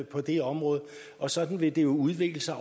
på det område og sådan vil det jo udvikle sig